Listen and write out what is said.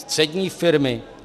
Střední firmy?